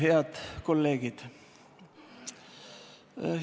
Head kolleegid!